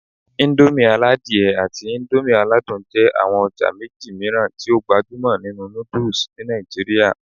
Indomie aladie àti Indomie aladun jẹ́ àwọn ọjà méjì mìíràn tí ó gbajúmọ̀ nínú noodles ní Nàìjíríà